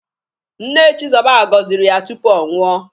Nne Chizoba goziri ya tupu ọ nwụọ.